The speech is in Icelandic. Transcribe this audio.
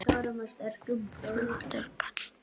Flottur kall.